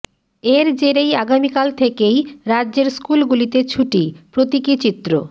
এর জেরেই আগামিকাল থেকেই রাজ্যের স্কুলগুলিতে ছুটি প্রতীকী চিত্র